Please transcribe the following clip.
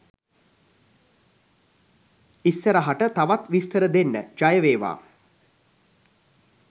ඉස්සරහට තවත් විස්තර දෙන්න.ජයවේවා.